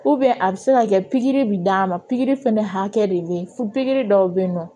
a bɛ se ka kɛ pikiri bi d'a ma pikiri fana hakɛ de bɛ yen fo pikiri dɔw bɛ yen nɔ